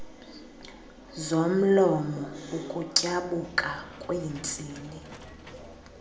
zomlomo ukutyabuka kweentsini